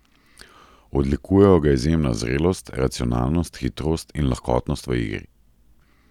Odlikujejo ga izjemna zrelost, racionalnost, hitrost in lahkotnost v igri.